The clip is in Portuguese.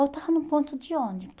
Eu estava num ponto de